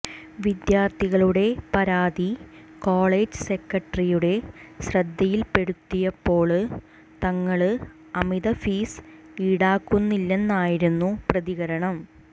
വിദ്യാര്ത്ഥികളുടെ പരാതി കോളേജ് സെക്രട്ടറിയുടെ ശ്രദ്ധയില്പ്പെടുത്തിയപ്പോള് തങ്ങള് അമിത ഫീസ് ഈടാക്കുന്നില്ലെന്നായിരുന്നു പ്രതികരണം